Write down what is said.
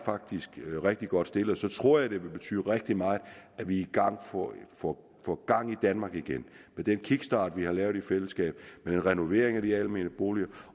rigtig godt stillet jeg tror det vil betyde rigtig meget at vi får gang i danmark igen med den kickstart vi har lavet i fællesskab med renovering af de almene boliger